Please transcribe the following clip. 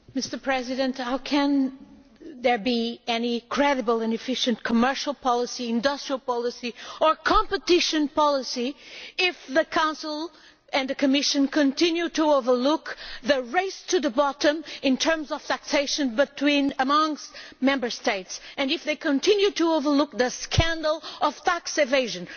Mr President, how can there be any credible and efficient commercial policy, industrial policy or competition policy if the Council and the Commission continue to overlook the race to the bottom in terms of taxation amongst Member States if they continue to overlook the scandal of tax evasion?